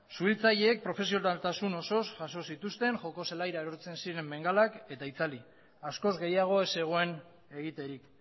suhiltzaileek profesionaltasun osoz jaso zituzten joko zelaira erortzen ziren bengalak eta itzali askoz gehiago ez zegoen egiterik